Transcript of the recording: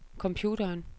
computeren